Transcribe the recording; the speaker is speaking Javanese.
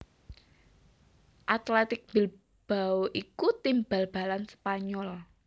Athletic Bilbao iku tim bal balan Spanyol